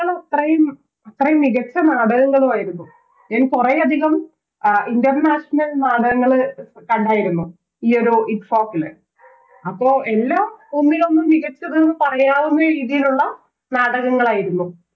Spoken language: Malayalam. അത്രയും അത്രയും മികച്ച നാടകങ്ങളു ആയിരുന്നു ഞാൻ കൊറേയധികം International നാടകങ്ങൾ കണ്ടായിരുന്നു ഈയൊരു ITFOK ല് അപ്പൊ എല്ലാം ഒന്നിലൊന്ന് മികച്ചത് എന്ന് പറയാവുന്ന രീതിയിലുള്ള നാടകങ്ങളായിരുന്നു